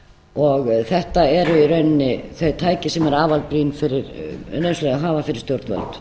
og þetta eru í rauninni þau tæki sem eru afar nauðsynleg að hafa fyrir stjórnvöld